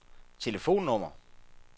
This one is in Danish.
telefonnummer